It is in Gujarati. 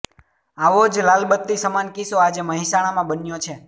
આવો જ લાલબત્તી સમાન કિસ્સો આજે મહેસાણામાં બન્યો છે